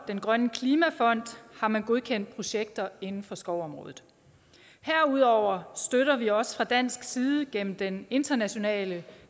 den grønne klimafond har man godkendt projekter inden for skovområdet herudover støtter vi også fra dansk side gennem den internationale